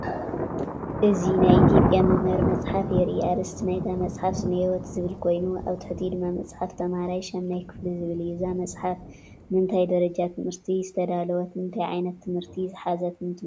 እዚ ናይ ኢትዮጵያ መምሃሪ መጽሓፍ የርኢ። ኣርእስቲ ናይታ መጽሓፍ “ስነ-ህይወት” ዝብል ኮይኑ፡ ኣብ ትሕቲኡ ድማ “መፅሓፍ ተማሃራይ 8ይ ክፍሊ” ዝብል እዩ። እዛ መጽሓፍ ንእንታይ ደረጃ ትምህርቲ ዝተዳለወትን እንታይ ዓይነት ትምህርቲ ዝሓዘት ትመስለኩም?